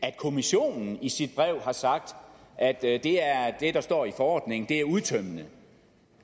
at kommissionen i sit brev har sagt at det der står i forordningen er udtømmende